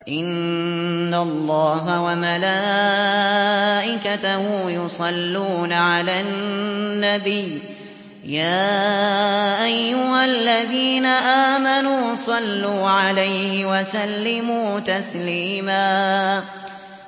إِنَّ اللَّهَ وَمَلَائِكَتَهُ يُصَلُّونَ عَلَى النَّبِيِّ ۚ يَا أَيُّهَا الَّذِينَ آمَنُوا صَلُّوا عَلَيْهِ وَسَلِّمُوا تَسْلِيمًا